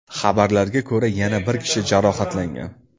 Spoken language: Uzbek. Xabarlarga ko‘ra, yana bir kishi jarohatlangan.